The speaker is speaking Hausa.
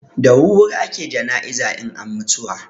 Da wurwuri ake jana'iza in an mutuwa.